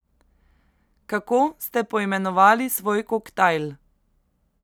Kako ste poimenovali svoj koktajl?